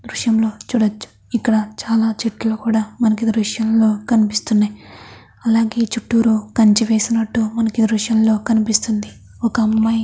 దృశ్యంలో చూడొచ్చు. ఇక్కడ చాలా చెట్లు కూడా మనకి ఈ దృశ్యం లో కనిపిస్తున్నాఅయ్. అలాగే చిత్తూరు కంచ వేసినట్టు మనకి దృశ్యంగా అనిపిస్తుంది. ఒక అమ్మాయి అమ్మాయి--